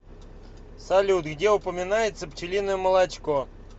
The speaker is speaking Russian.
салют где упоминается пчелиное молочко